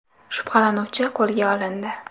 Shubhalanuvchi qo‘lga olindi.